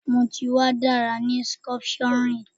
Mo ti wa ni dara ni sculpturing